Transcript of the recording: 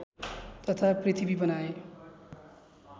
तथा पृथ्वी बनाए